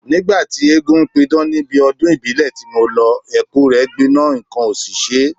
Nígbà tí eégún ń pidán níbi ọdún ìbílẹ̀ ti mo lọ, Ẹ̀kú rẹ gbiná nǹkan ò sì ṣe e